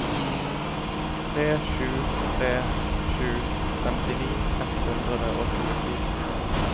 tre sju tre sju femtini ett hundre og tjuefire